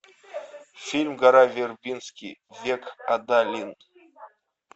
фильм гора вербински век адалин